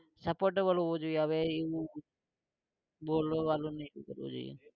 supportable હોવું જોઈએ હવે એવું બોલવા વારુ